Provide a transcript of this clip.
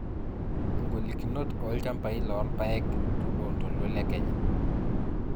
ingolikinot oolchampai loolpaek to loontoluo Le Kenya